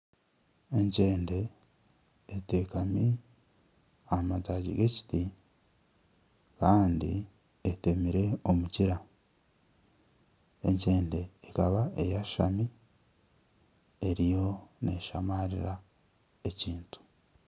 Enkyende eteekami aha mataagi g'ekiti kandi etemire omukira. Enkyende ekaba eyashami eriyo neshamaarira ekintu.